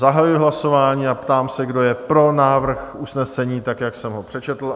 Zahajuji hlasování a ptám se, kdo je pro návrh usnesení, tak jak jsem ho přečetl?